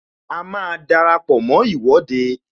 A máa dara pọ mó Ìwọ́de